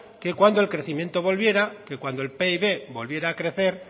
que cuando el crecimiento volviera que cuando el pib volviera a crecer